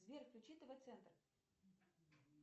сбер включи тв центр